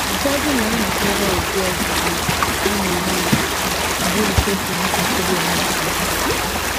Ụfọdụ na - anakwere ụdị ọgwụgwọ a na - enyo enyo bụ́ nke pụrụ ibutere ha nsogbu.